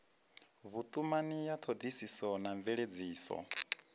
vhutumani ya thodisiso na mveledziso